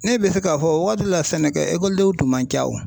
Ne bɛ se k'a fɔ wagati dɔ la sɛnɛkɛ ekɔlidenw tun man